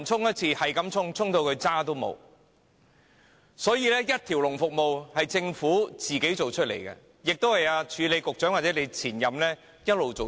因此，這種一條龍服務是政府一手造成的，亦是署理局長或其前任一直以來造成的。